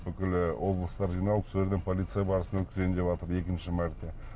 бүкіл і облыстар жиналып сол жерде полиция барысын өткізейін деватыр екінші мәрте